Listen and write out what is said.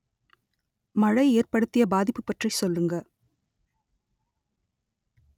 மழை ஏற்படுத்திய பாதிப்பு பற்றி சொல்லுங்க